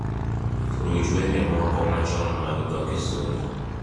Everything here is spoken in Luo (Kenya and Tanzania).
ruch wende moko machon mag dho Kisungu